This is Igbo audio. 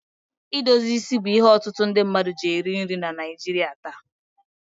Idozi isi bụ ihe ọtụtụ mmadụ ji eri nri na Naịjirị taa.